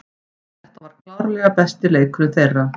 Þetta var klárlega besti leikurinn þeirra.